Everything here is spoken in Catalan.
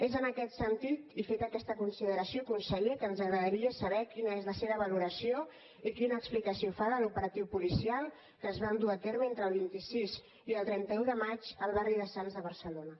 és en aquest sentit i feta aquesta consideració conseller que ens agradaria saber quina és la seva valoració i quina explicació fa de l’operatiu policial que es va dur a terme entre el vint sis i el trenta un de maig al barri de sants de barcelona